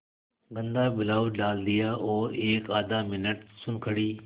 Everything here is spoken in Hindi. गंदा ब्लाउज डाल दिया और एकआध मिनट सुन्न खड़ी